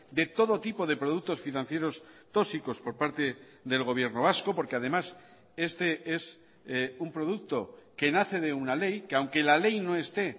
de todo tipo de productos financieros tóxicos por parte del gobierno vasco porque además este es un producto que nace de una ley que aunque la ley no esté